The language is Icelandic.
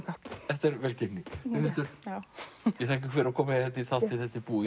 þetta er velgengni Brynhildur ég þakka fyrir að koma í þáttinn þetta er búið